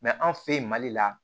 anw fɛ yen mali la